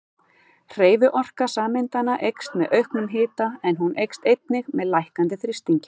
Hreyfiorka sameindanna eykst með auknum hita en hún eykst einnig með lækkandi þrýstingi.